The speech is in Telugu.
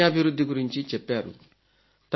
నైపుణ్యాభివృద్ధి గురించి చెప్పారు